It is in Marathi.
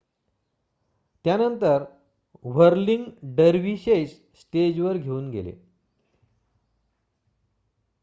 त्यानंतर व्हर्लिंग डेर्वीशेस स्टेजवर घेऊन गेले